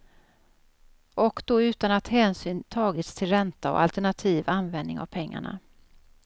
Och då utan att hänsyn tagits till ränta och alternativ användning av pengarna.